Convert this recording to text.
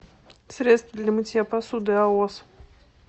средство для мытья посуды аос